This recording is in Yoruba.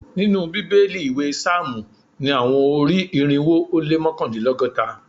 Ninu Bibeli iwe psalmu ni awọn ori-irinwo o le mọkandinlọgọta